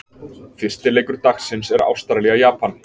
Fyrsti leikur dagsins er Ástralía- Japan.